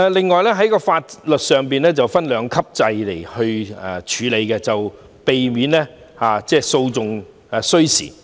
此外，在法律上會引入兩級制處理擬議罪行，以避免訴訟需時。